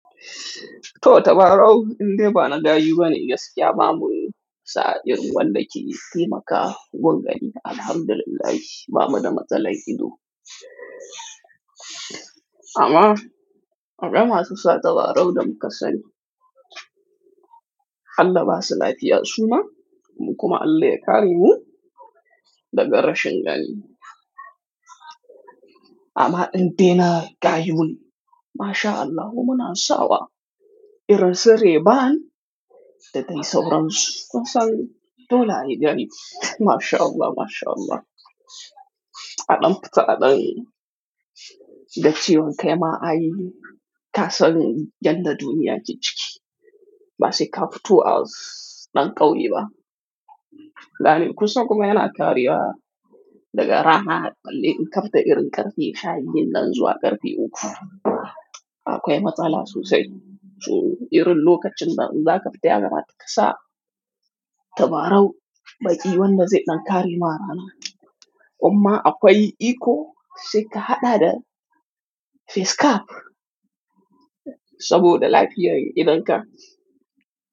To tabarau indai ba na daji bane gaskiya babu sa'in wanda ke taimakawa gani Alhamdulillah babu da matsala ido. Amma aƙaba masu sa tabarau da muka sani, halla ba su lafiya suna mu kuma an leƙa ni mu daga rashin gani. Amma indai na gayu mun Masha Allahu muna sawa, irin tsire ba'an da dai sauransu kasani dole a yi gani Masha Allah Masha Allah. Aɗam fita aɗan da cewan kai ma ai ka san janna duniya jiki ba sai ka fito a ɗan ƙauye ba. Dan kusa kuma yana kariwa daga rana balle in ka fita irin ƙarfe shabiyu dinnan zuwa ƙarfe uku akwai matsala sosai. So irin lokacin da in za ka fita ya kamata kasa tabarau baƙi wanda zai ɗan kari ma rana. Amma akwai iko sai ka haɗa da face cap saboda lafiyar idonka.